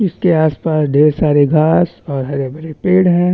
इसके आसपास ढेर सारे घास और हरे-भरे पेड़ है।